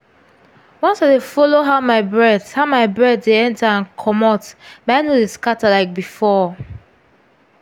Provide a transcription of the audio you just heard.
once i dey follow how my breath how my breath dey enter and comot my head no dey scatter like before.